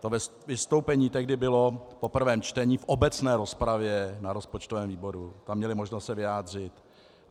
To vystoupení tehdy bylo po prvém čtení v obecné rozpravě na rozpočtovém výboru, tam měli možnost se vyjádřit.